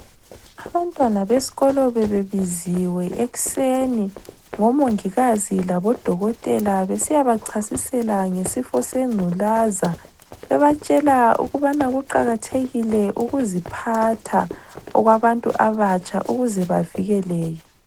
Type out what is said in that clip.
Abantwana beskolo bebebiziwe ekuseni ngomongikazi labodokotela besiya bachasisela ngesifo sengculaza, bebatshela ukubana kuqakathekile ukuziphatha okwabantu abatsha ukuze bavikeleke.